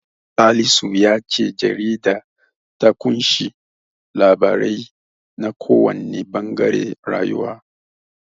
Salisu ya ce jaridar ta ƙunshi labarai na kowanne ɓangaren rayuwa.